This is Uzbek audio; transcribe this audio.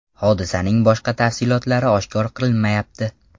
Hodisaning boshqa tafsilotlari oshkor qilinmayapti.